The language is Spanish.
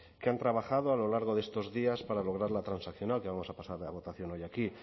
que han trabajado a lo largo de estos días para lograr la transaccional que vamos a pasar a votación hoy aquí